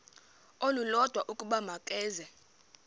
olulodwa ukuba makeze